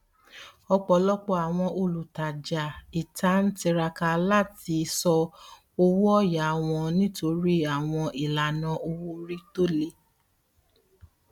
ọpọlọpọ àwọn olutaja ita n tiraka lati sọ owóọyà wọn nitori àwọn ìlànà owoorí tóle